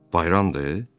Bayramdır?